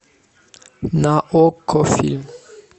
на окко фильм